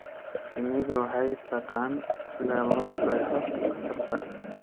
Shinnidu waxay taqaan sida loo qeexo khatarta.